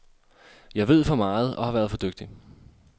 Jeg ved for meget og har været for dygtig.